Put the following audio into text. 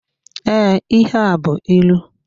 Ee, ihe a bụ ịlụ.